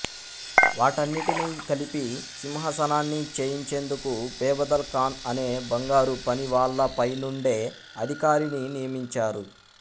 వాటన్నిటినీ కలిపి సింహాసనాన్ని చేయించేందుకు బెబదల్ ఖాన్ అనే బంగారుపనివాళ్ళపైనుండే అధికారిని నియమించారు